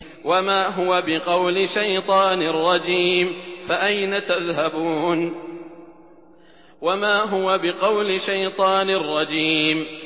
وَمَا هُوَ بِقَوْلِ شَيْطَانٍ رَّجِيمٍ